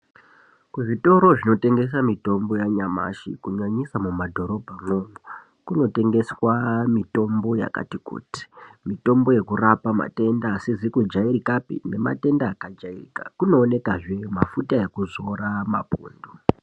Kuzvitoro zvinotengesa mitombo yanyamashi kunyanyisa mumadhorobhamwo kunotengeswa mitombo yakati kuti mitombo yekurapa matenda asizi kujairikapi nematenda akajairika kunoonekazve nemafuta mapundu.